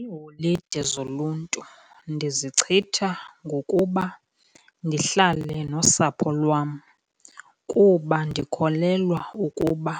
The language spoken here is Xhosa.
Iiholide zoluntu ndizichitha ngokuba ndihlale nosapho lwam, kuba ndikholelwa ukuba